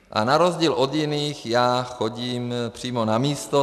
A na rozdíl od jiných já chodím přímo na místo.